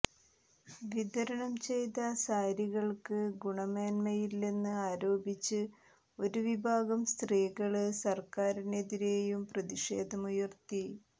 വിതരണം ചെയ്ത സാരികള്ക്ക് ഗുണമേന്മയില്ലെന്ന് ആരോപിച്ച് ഒരു വിഭാഗം സ്ത്രീകള് സര്ക്കാരിനെതിരെയും പ്രതിഷേധമുയര്ത്തി